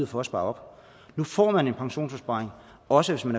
for at spare op nu får man en pensionsopsparing også hvis man